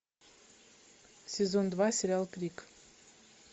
сезон два сериал крик